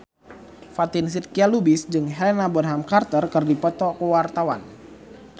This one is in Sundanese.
Fatin Shidqia Lubis jeung Helena Bonham Carter keur dipoto ku wartawan